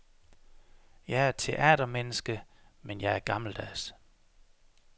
Jeg er teatermenneske, men jeg er gammeldags.